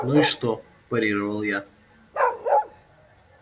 ну и что парировал я